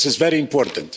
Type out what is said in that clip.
this is very important.